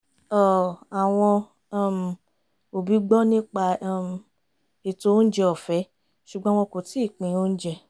àwọn um òbí gbọ́ nípa um ètò oúnjẹ ọ̀fẹ́ ṣùgbọ́n wọ́n kò tií pin oúnjẹ